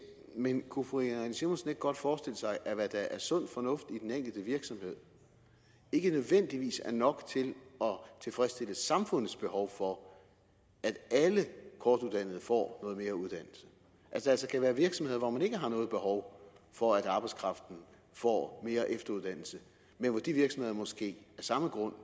men kunne fru irene simonsen ikke godt forestille sig at hvad der er sund fornuft i den enkelte virksomhed ikke nødvendigvis er nok til at tilfredsstille samfundets behov for at alle kortuddannede får noget mere uddannelse at der altså kan være virksomheder hvor man ikke har noget behov for at arbejdskraften får mere efteruddannelse men hvor de virksomheder måske af samme grund